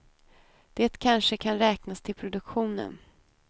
Det kanske kan räknas till produktionen.